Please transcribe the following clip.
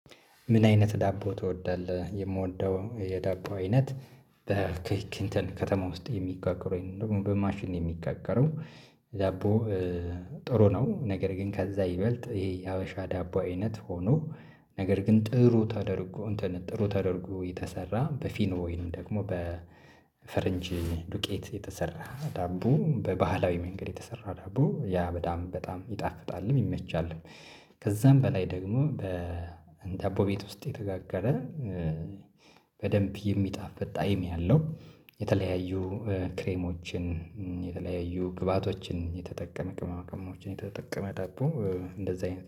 ምን አይነት ዳቦ ትወዳለህ? የምወደው የዳቦ አይነት በክክንተን ከተማ ውስጥ የሚጋግሩ ደግሞ በማሽን የሚጋገረው ዳቦ ጥሩ ነው። ነገር ግን ከዛ ይበልጥ ይሄ የሀበሻ ዳቦ አይነት ሆኖ ነገር ግን ጥሩ ተደርጎ እንትን ጥሩ ተደርጎ የተሰራ በፊኖ ወይንም ደግሞ በፈረንጅ ዱቄት የተሰራ ዳቦ በባህላዊ መንገድ የተሰራ ዳቦ ያ በጣም በጣም ይጣፍጣልም ይመቻልም። ከዛም በላይ ደግሞ በ ዳቦ ቤት ውስጥ የተጋገረ በደንብ የሚጣፍጥ ጣይም ያለው የተለያዩ ክሬሞችን የተለያዩ ግብአቶችን የተጠቀመ ቅመማቅመሞችን የተጠቀመ ዳቦ እንደዛ አይነት